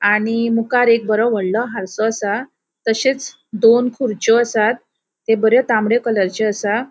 आणि मुकार एक बरो वडलों आर्सो असा. तशेच दोन खुरच्यो आसात त्यो बऱ्यो तांबड्यो कलरच्यो आसात.